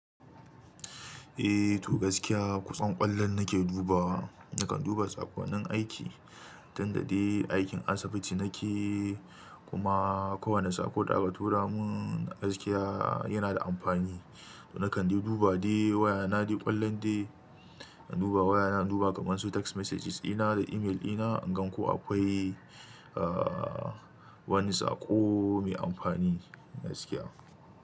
Eh, to gaskiya ƙusan ƙwallon nake dubawa, nakan duba tsakwanin aiki, tunda dai aikin asibiti nake, kuma kowane saƙo da aka tura mun gaskiya yana da amfani. To nakan de duba dai, waya naɗi ƙwallon dai, an duba waya na, an duba kamansu text messages ina da email ina, in gan ko akwai aa wani saƙo mai amfani gaskiya.